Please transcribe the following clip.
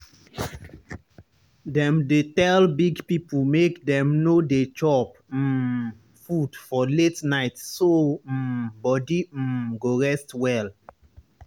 dem dey tell big people make dem no dey chop um food for late night so um body um go rest well.